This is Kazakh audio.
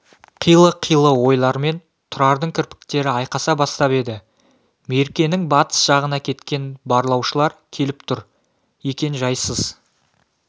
қилы-қилы ойлармен тұрардың кірпіктері айқаса бастап еді меркенің батыс жағына кеткен барлаушылар келіп тұр екен жайсыз